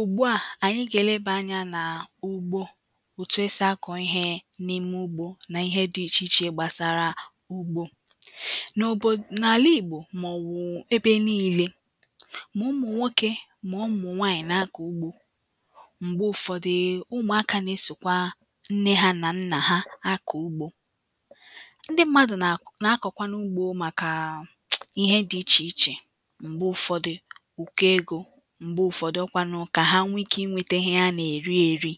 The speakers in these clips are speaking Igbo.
Ụ̀gbu a anyi ga-eleba ànyà na ụ̀gbo. Otu esi àkō ìhe n’ime ụ̀gbo na ìhe di ìche ìche gbasara ụ̀gbo N’obodō, na àlà ìgbo ma ọ̀wụ̄ na ebe niile ma ụ̀mụ̀ nwoke ma ụ̀mụ̀ nwanyi na-àkọ̀ ụ̀gbo m̀gbe ụ̀fọ̀dii ụ̀mụ̀aka na-esokwa nne ha na nna ha na-àkọ ụ̀gbo Ǹdị mmadụ̀ na-k na-akọ̀kwanụ̀ ụ̀gbo màkà ìhe di ìche ìche. M̀gbe ụfọdị ụkọ ego, m̀gbe ụfọdị ọ kwanụ ka ha nwe ị̀ke ìnwete ìhe ha na-eri eri.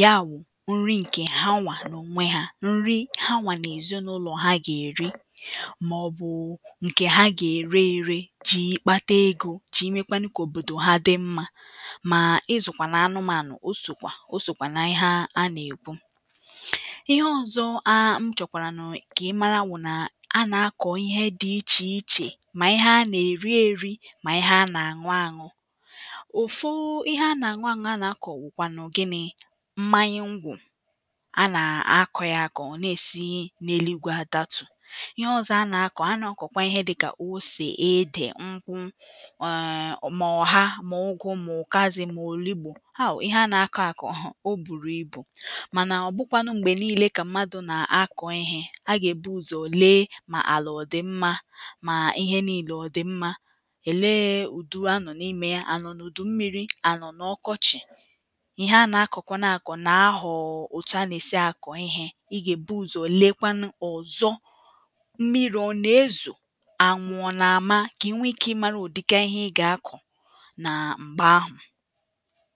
Ya wụ̀ ǹrị̀ ṅ̀ke hanwa n’onwē ha ṅ̀rị hanwa n’ezinụ̀lọ̀ ha ga erì. Ma ọbụ ṅke ha ga-ērē ērē ji kpata ego, ji mekwanụ̀ ka òbōdō ha dì m̀ma. Maa ị̀zụ̀kwanụ̀ anụ̀manụ̀ o sokwa o sokwa na ihe a na-ekwu. Ìhe ọ̀zọ̀ aa ṅchọkwaranụ̀ ka imara bụ̀ na À na-àkọ̀ ị̀he dị̀ ìchē ìchē ma ị̀he a na-eri eri. ma ị̀he a na-aṅụ̀ aṅụ̀ ofu ìhe a na-aṅụ̀ aṅụ̀ a na-àkọ̀ wụ̀kwanụ̀ gini? M̀manya ṅ̀gwọ̀ À na-akọ̀ ya àkọ̀ ọ na-esi n’eligwe àdàtū. Ị̀he ọ̀zọ̀ a na-àkọ̀ a na-kokwa ihē dika ose, ede ṅ̀kwụ̀. Ọọ ma ọ̀ha, ma ụ̀gụ̀, ma ụ̀kasị̀, ma ọlubū Aw! Ị̀he à na-àkọ̀ àkọ̀, o bụrụ̄ ị̀bū, mànà ọ̀bụ̄ kwanụ̀ m̀gbe niile ka m̀madụ na-àkọ ịhe, a ga-ebu ụ̀zọ lee ma àlà ọ dị̀ m̀ma ma ịhe niile ọ di m̀ma Elee odū ànọ̀ n’ime ya, anọ̀ n’udū m̀mịri ànọ̀ n’ọ̀kọ̀chị̀. ɪ̀he anọ̀ akọkwanụ àkọ̀ na-ahọọ otu a na-esi akọ̀ ihe I ga-ebu ụ̀zọ̀ lekwanụ ọ̀zọ̀. M̀miri ọ̀ na-ezo, ànwụ̄ ọ̀ na-ama, ka inwee ìke mara ụ̀dika ihe I ga-akọ̀ Na m̀gbē àhụ̄